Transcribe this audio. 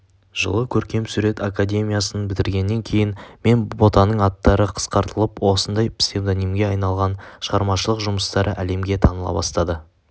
жылы көркемсурет академиясын бітіргеннен кейін мен ботаның аттары қысқартылып осындай псевдонимге айналған шығармашылық жұмыстары әлемге таныла бастаған